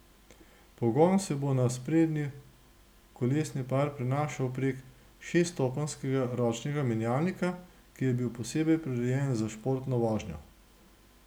Pogon se bo na sprednji kolesni par prenašal prek šeststopenjskega ročnega menjalnika, ki je bil posebej prirejen za športno vožnjo.